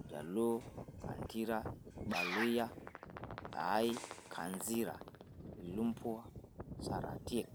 Iljaluo; Kandira ,Irbaluyia; Kanzira, Ilumbwa; Saratiek.